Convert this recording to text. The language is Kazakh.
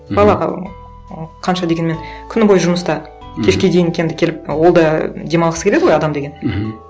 балаға м қанша дегенмен күні бойы жұмыста кешке дейін енді келіп ол да демалғысы келеді ғой адам деген мхм